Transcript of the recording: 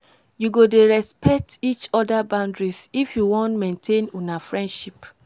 you go dey respect each oda boundaries if you wan maintain una friendship.